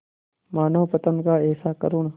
मानवपतन का ऐसा करुण